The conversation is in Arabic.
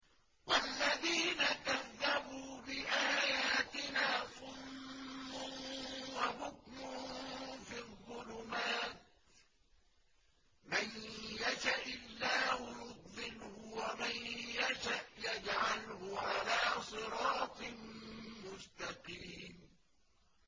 وَالَّذِينَ كَذَّبُوا بِآيَاتِنَا صُمٌّ وَبُكْمٌ فِي الظُّلُمَاتِ ۗ مَن يَشَإِ اللَّهُ يُضْلِلْهُ وَمَن يَشَأْ يَجْعَلْهُ عَلَىٰ صِرَاطٍ مُّسْتَقِيمٍ